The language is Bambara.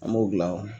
An b'o dilan